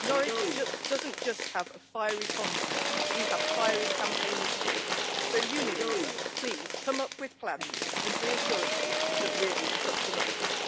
Norwich does not just have a fiery condiment we have fiery campaigners too. So, Unilever, please come up with plans and reassurances that really cut the mustard.